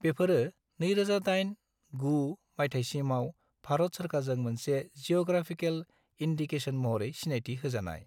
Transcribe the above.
बेफोरो 2008-09 मायथायसिमाव भारत सोरखारजों मोनसे जीअ'ग्राफिकेल इन्दिकेशन महरै सिनायथि होजानाय।